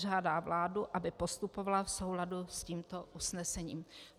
Žádá vládu, aby postupovala v souladu s tímto usnesením.